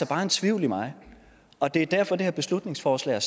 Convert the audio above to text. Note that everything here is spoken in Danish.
bare en tvivl i mig og det er derfor at det her beslutningsforslag er